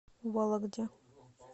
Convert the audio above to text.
вологде